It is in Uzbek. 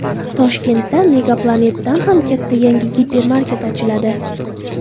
Toshkentda Megaplanet’dan ham katta yangi gipermarket ochiladi.